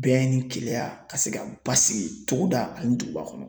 Bɛn ni keleya ka se ka basigi togoda ani duguba kɔnɔ.